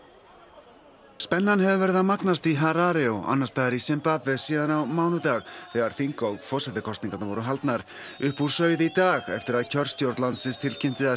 spennan hefur verið að magnast í Harare og annars staðar í Simbabve síðan á mánudag þegar þing og forsetakosningarnar voru haldnar upp úr sauð í dag eftir að kjörstjórn landsins tilkynnti að stjórnarflokkurinn